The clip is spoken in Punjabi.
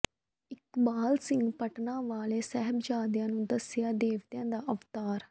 ਇਕਬਾਲ ਸਿੰਘ ਪਟਨਾ ਵਾਲੇ ਨੇ ਸਾਹਿਬਜਾਦਿਆਂ ਨੂੰ ਦੱਸਿਆ ਦੇਵਤਿਆਂ ਦਾ ਅਵਤਾਰ